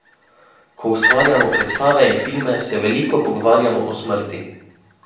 Ko ustvarjamo predstave in filme, se veliko pogovarjamo o smrti.